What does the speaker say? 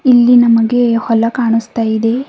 ಇಲ್ಲಿ ನಮಗೆ ಹೊಲ ಕಾಣಿಸ್ತಾ ಇದೆ.